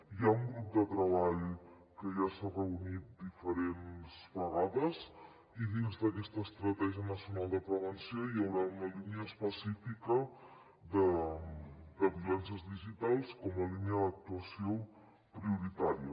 hi ha un grup de treball que ja s’ha reunit diferents vegades i dins d’aquesta estratègia nacional de prevenció hi haurà una línia específica de violències digitals com a línia d’actuació prioritària